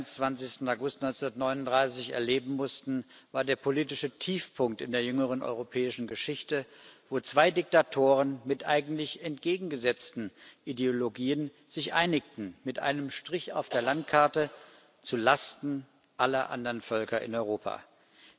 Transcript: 23. August 1939 erleben mussten, war der politische Tiefpunkt in der jüngeren europäischen Geschichte, wo zwei Diktatoren mit eigentlich entgegengesetzten Ideologien sich mit einem Strich auf der Landkarte zu Lasten aller anderen Völker in Europa einigten.